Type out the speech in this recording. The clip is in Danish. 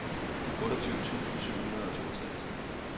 otteogtyve tusind syv hundrede og toogtres